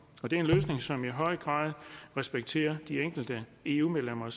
det er en løsning som i høj grad respekterer ønskerne de enkelte eu medlemmer